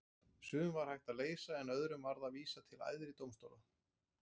Sum var hægt að leysa en öðrum varð að vísa til æðri dómstóla.